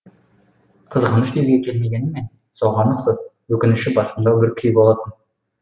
қызғаныш деуге келмегенімен соған ұқсас өкініші басымдау бір күй болатын